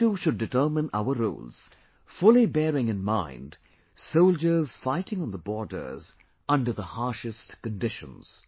We too should determine our roles, fully bearing in mind soldiers fighting on the borders under the harshest conditions